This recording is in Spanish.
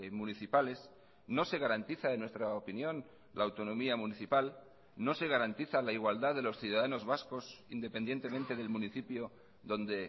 municipales no se garantiza en nuestra opinión la autonomía municipal no se garantiza la igualdad de los ciudadanos vascos independientemente del municipio donde